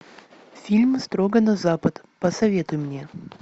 фильм строго на запад посоветуй мне